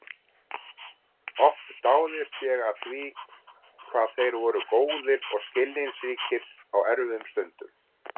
Oft dáðist ég að því hvað þeir voru góðir og skilningsríkir á erfiðum stundum.